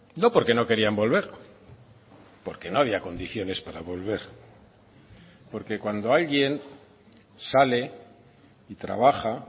no porque no querían volver porque no había condiciones para volver porque cuando alguien sale y trabaja